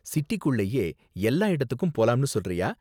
சிட்டிக்குள்ளயே எல்லா இடத்துக்கும் போலாம்னு சொல்றியா?